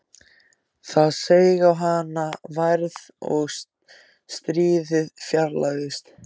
Það seig á hana værð og stríðið fjarlægðist.